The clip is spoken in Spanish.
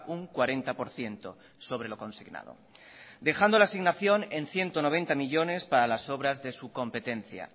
un cuarenta por ciento sobre lo consignado dejando la asignación en ciento noventa millónes para las obras de su competencia